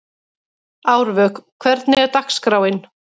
Árvök, hvernig er dagskráin?